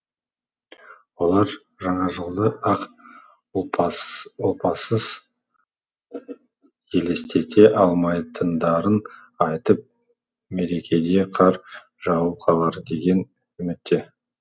олар жаңа жылды ақ ұлпасыз елестете алмайтындарын айтып мерекеде қар жауып қалар деген үмітте